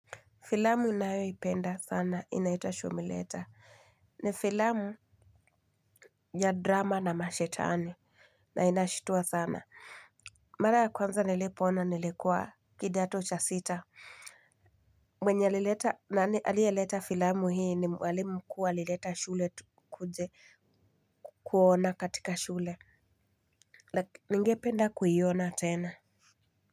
Filamu ninayoipenda sana inaitwa shumileta. Ni filamu ya drama na mashetani na inashitua sana. Mara ya kwanza nilipoona nilikuwa kidato cha sita. Mwenye alileta nani aliyeleta filamu hii ni mwalimu mkuu alileta shule tukuje kuona katika shule. Ningependa kuiona tena Muzika.